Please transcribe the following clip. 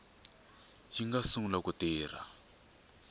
yi nga sungula ku tirha